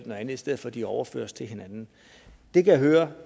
manuelt i stedet for at de overføres til hinanden det kan jeg høre